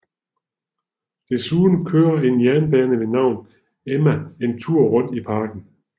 Desuden kører en jernbane ved navn Emma en tur rundt i parken